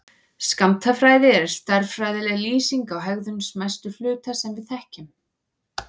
Skammtafræði er stærðfræðileg lýsing á hegðun smæstu hluta sem við þekkjum.